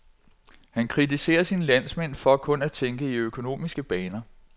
Han kritiserer sine landsmænd for kun at tænke i økonomiske baner.